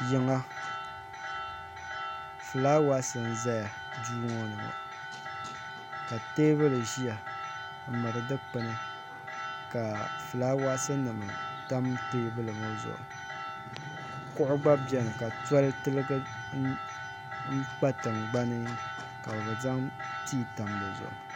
Yiŋa filaawasi n ʒɛya duu ŋɔ ni ŋɔ teebuli ʒiya m miri dukpini ka filawaasinim tam teebuli ŋɔ zuɣu kuɣu gba beni ka tɔli tiligi kpa tingbani ka bɛ zaŋ tii tam dizuɣu